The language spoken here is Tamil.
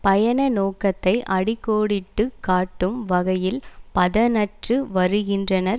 பயண நோக்கத்தை அடி கோடிட்டு காட்டும் வகையில் புதனன்று வருகின்றனர்